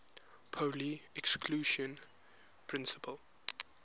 pauli exclusion principle